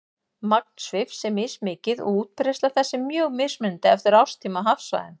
Magn svifs er mismikið og útbreiðsla þess er mjög mismunandi eftir árstíma og hafsvæðum.